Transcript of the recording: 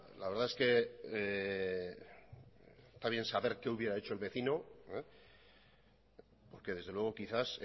la verdad es que está bien saber qué hubiera hecho el vecino porque desde luego quizás